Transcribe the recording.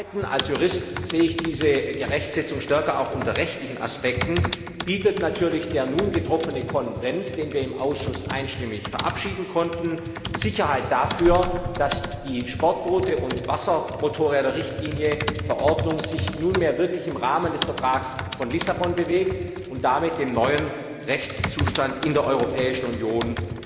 Schließlich als Jurist sehe ich diese Rechtsetzung stärker auch unter rechtlichen Aspekten bietet natürlich der nun getroffene Konsens, den wir im Ausschuss einstimmig verabschieden konnten, Sicherheit dafür, dass die Sportboote und Wassermotorräder Richtlinie sich nunmehr wirklich im Rahmen des Vertrags von Lissabon bewegt, und damit dem neuen Rechtszustand in der Europäischen Union